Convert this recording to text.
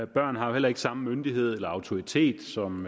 børn har jo heller ikke samme myndighed eller autoritet som